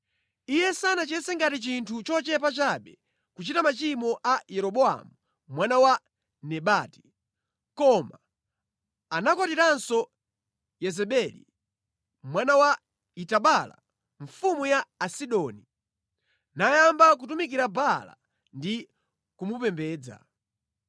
Iye sanachiyese ngati chinthu chochepa chabe kuchita machimo a Yeroboamu mwana wa Nebati, koma anakwatiranso Yezebeli, mwana wa Etibaala mfumu ya Asidoni, nayamba kutumikira Baala ndi kumupembedza.